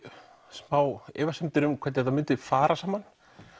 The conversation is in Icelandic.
smá efasemdir um hvernig þetta myndi fara saman